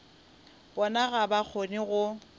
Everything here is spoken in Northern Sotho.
bona ga ba kgone go